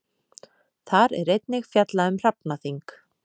Þar er einnig fjallað um hrafnaþing.